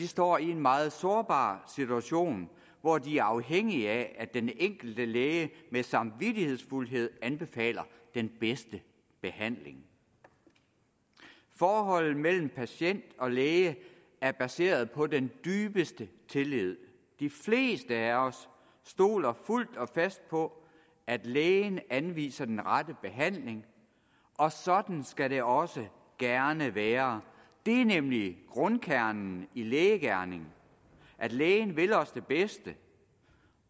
står i en meget sårbar situation hvor de er afhængige af at den enkelte læge samvittighedsfuldt anbefaler den bedste behandling forholdet mellem patient og læge er baseret på den dybeste tillid de fleste af os stoler fuldt og fast på at lægen anviser den rette behandling og sådan skal det også gerne være det er nemlig grundkernen i lægegerningen at lægen vil os det bedste